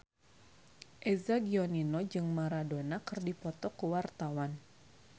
Eza Gionino jeung Maradona keur dipoto ku wartawan